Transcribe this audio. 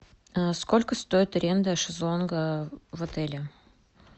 сколько стоит аренда шезлонга в отеле